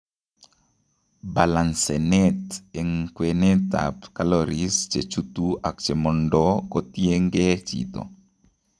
Balancenet eng, kwenet ab calaories chechutu ak chemondoo kotiengee chito